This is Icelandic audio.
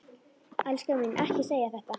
Elskan mín, ekki segja þetta!